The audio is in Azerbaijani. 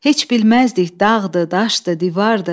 Heç bilməzdik dağdı, daşdı, divardı.